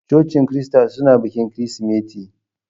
Cocin Kirista suna bikin Kirsimeti.